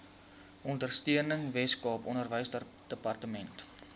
ondersteuning weskaap onderwysdepartement